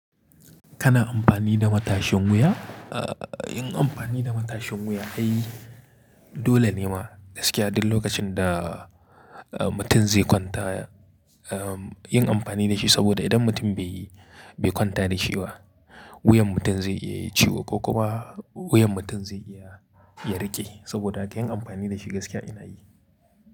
Kana amfani da matashin wuya? Aaa yin amfani da matashin wuya ai dolene ma gaskiya duk lokacin da mutum zai kwanta. Am yin amfani dashi saboda idan mutum bai, bai kwanta dashi ba wuyan mutum zai iya yayi ciwo ko kuma wuyan mutum zai iya ya riƙe saboda haka yin amfani dashi gaskiya ina yi.